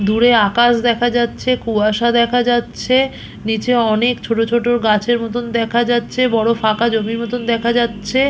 দূরে আকাশ দেখা যাচ্ছে কুয়াশা দেখা যাচ্ছে নিচে অনেক ছোট ছোট গাছের মতন দেখা যাচ্ছে বড় ফাঁকা জমির মতন দেখা যাচ্ছে।